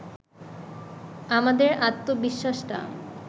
আমাদের আত্মবিশ্বাসটা